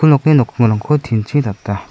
nokni nokkingrangko tin chi data.